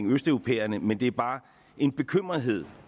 østeuropæerne men det er bare en bekymrethed